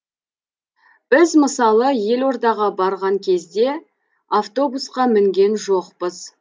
біз мысалы елордаға барған кезде автобусқа мінген жоқпыз